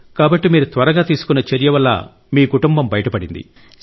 కాబట్టి మీరు త్వరగా తీసుకున్న చర్య వల్ల మీ కుటుంబం బయటపడింది